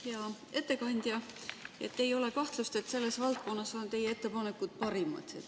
Hea ettekandja, ei ole kahtlust, et selles valdkonnas on teie ettepanekud parimad.